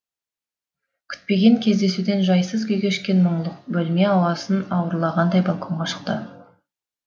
күтпеген кездесуден жайсыз күй кешкен мұңлық бөлме ауасын ауырлағандай балконға шықты